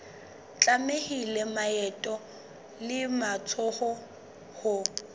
tlamehile maoto le matsoho ho